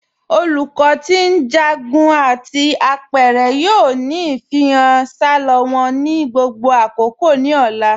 Olùkọ ti njágún àti apẹ̀rẹ̀ yoo ni ifihàn salọ wọn ni gbogbo àkókò ni ọ̀là.